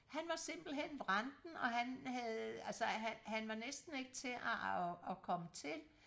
han var simpelthen vranten og han havde altså han han var næsten ikke til og og komme til